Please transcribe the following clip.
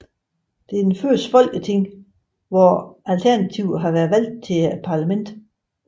Det er det første folketing hvor at Alternativet har været valgt til parlamentet